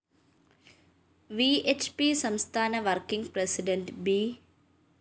V H P സംസ്ഥാന working president B